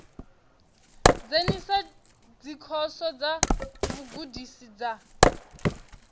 dzhenisa dzikhoso dza vhugudisi dza